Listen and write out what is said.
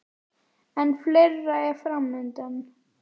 En fleira er fram undan.